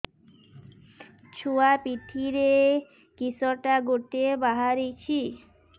ଛୁଆ ପିଠିରେ କିଶଟା ଗୋଟେ ବାହାରିଛି